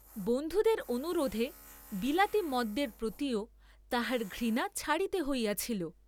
বন্ধুদের অনুরােধে বিলাতী মদ্যের প্রতিও তাহার ঘৃণা ছাড়িতে হইয়াছিল।